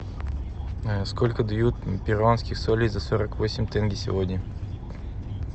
сколько дают перуанских солей за сорок восемь тенге сегодня